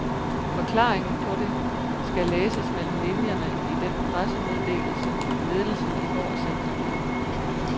Forklaringen på det skal læses mellem linjerne i den pressemeddelelse, ledelsen i går sendte ud.